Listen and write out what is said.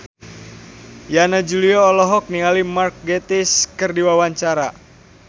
Yana Julio olohok ningali Mark Gatiss keur diwawancara